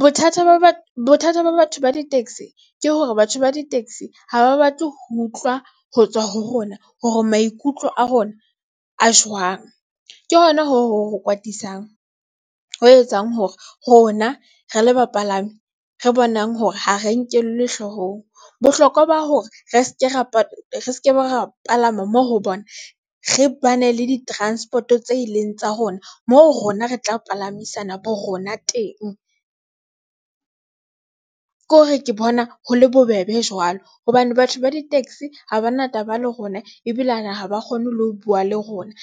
Bothata ba batho ba di-taxi ke hore batho ba di-taxi haba batle ho utlwa ho tswa ho rona hore maikutlo a rona a jwang ke hona ho etsang hore rona re le bapalami, re bonang hore ha re nkellwe hloohong bohlokwa ba hore re se ke ra re se ke be ra palama moo ho bona re bane le di-transport, o tse ileng tsa rona moo rona re tla palamisa na bo rona teng ke hore ke bona ho le bobebe jwalo hobane batho ba di-taxi ha bana taba le rona ebile a haba kgone le ho buwa le rona